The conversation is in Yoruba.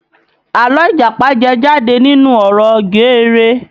Àlọ́ Ìjàpá jẹ jáde nínú ọ̀rọ̀ geere